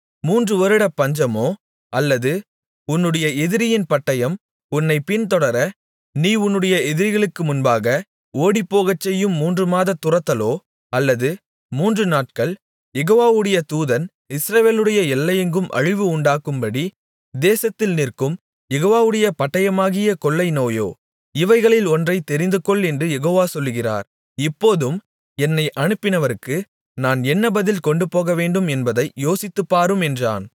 மூன்று வருடத்துப் பஞ்சமோ அல்லது உன்னுடைய எதிரியின் பட்டயம் உன்னைப் பின்தொடர நீ உன்னுடைய எதிரிகளுக்கு முன்பாக ஓடிப்போகச் செய்யும் மூன்றுமாதத் துரத்துதலோ அல்லது மூன்றுநாட்கள் யெகோவாவுடைய தூதன் இஸ்ரவேலுடைய எல்லையெங்கும் அழிவு உண்டாகும்படி தேசத்தில் நிற்கும் யெகோவாவுடைய பட்டயமாகிய கொள்ளை நோயோ இவைகளில் ஒன்றைத் தெரிந்துகொள் என்று யெகோவா சொல்கிறார் இப்போதும் என்னை அனுப்பினவருக்கு நான் என்ன பதில் கொண்டுபோகவேண்டும் என்பதை யோசித்துப்பாரும் என்றான்